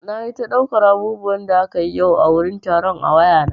Nayi ta ɗaukar abubuwan da akayi yau a wurin taron a wayana.